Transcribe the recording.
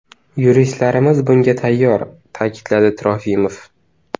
Yuristlarimiz bunga tayyor”, ta’kidladi Trofimov.